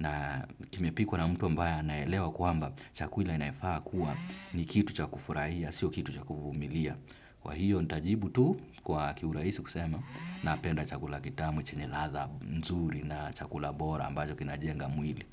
Na kimepikwa na mtu ambaye anaelewa kuamba chakula inafaa kuwa ni kitu cha kufurahia, sio kitu chakufumilia. Kwa hiyo nitajibu tu kwa kiurahisi kusema napenda chakula kitamu chenye ladha nzuri na chakula bora ambacho kinajenga mwili.